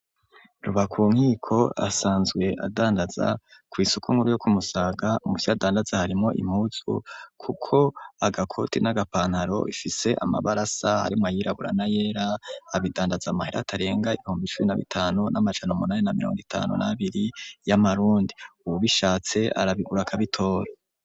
Rubakunkiko asanzwe adandaza ku isuku nkuru yo kumusaga muvyadandaza harimo impuzu kuko agakoti n'agapantaro bifise amabarasa harimo ayirabura na yera abidandaza amahera atarenga ibihumbi icubi na bitanu n'amajana munani na miliongo itanu n'abiri y'amarundi ubu bishatse arabigura akabitoro.